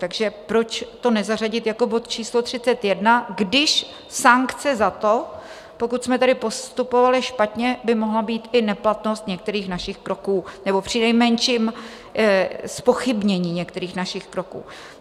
Takže proč to nezařadit jako bod číslo 31, když sankce za to, pokud jsme tady postupovali špatně, by mohla být i neplatnost některých našich kroků, nebo přinejmenším zpochybnění některých našich kroků.